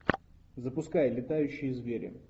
запускай летающие звери